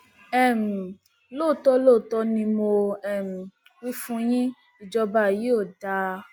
um lóòótọ lóòótọ ni mo um wí fún yín ìjọba yìí ò dáa